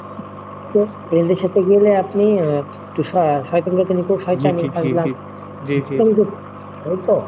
তো friend এর সাথে গেলে আপনি আহ একটু স আহ সয়তানি সয়তানি তাই তো?